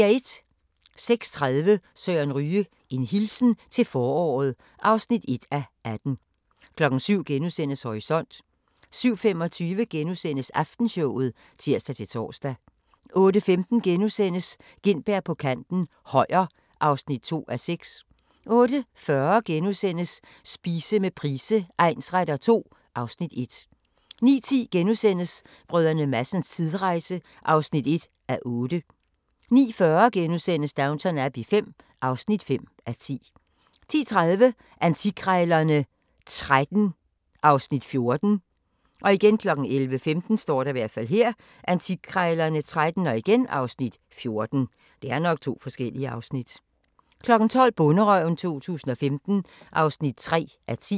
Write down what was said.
06:30: Søren Ryge: En hilsen til foråret (1:18) 07:00: Horisont * 07:25: Aftenshowet *(tir-tor) 08:15: Gintberg på kanten - Højer (2:6)* 08:40: Spise med Price egnsretter II (Afs. 1)* 09:10: Brdr. Madsens tidsrejse (1:8)* 09:40: Downton Abbey V (5:10)* 10:30: Antikkrejlerne XIII (Afs. 14) 11:15: Antikkrejlerne XIII (Afs. 14) 12:00: Bonderøven 2015 (3:10)